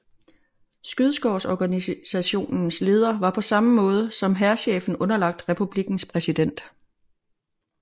Skyddskårsorganisationens leder var på samme måde som hærchefen underlagt republikkens præsident